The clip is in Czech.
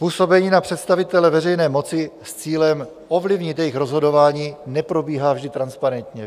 Působení na představitele veřejné moci s cílem ovlivnit jejich rozhodování neprobíhá vždy transparentně.